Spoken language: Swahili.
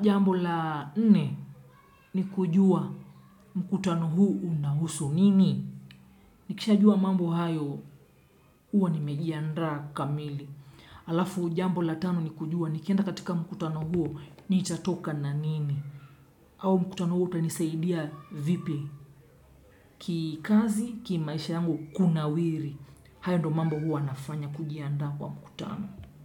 jambo la nne ni kujua mkutano huo unahusu nini. Nikisha jua mambo hayo huwa nimejiandaa kamili. Alafu jambo la tano ni kujua nikienda katika mkutano huo nitatoka na nini. Au mkutano huo utanisaidia vipi. Kikazi, kimaisha yangu kunawiri. Hayo ndio mambo huwa nafanya kujiandaa kwa mkutano.